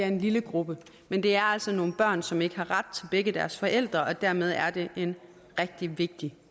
en lille gruppe men det er altså nogle børn som ikke har ret til begge deres forældre og dermed er det en rigtig vigtig